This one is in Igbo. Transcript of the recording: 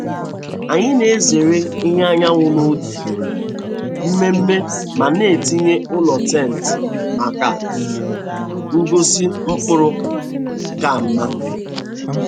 Anyị na-ezere ìhè anyanwụ n’oge mmemme ma na-etinye ụlọ tenti maka ngosi mkpụrụ ka mma.